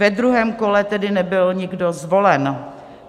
Ve druhém kole tedy nebyl nikdo zvolen.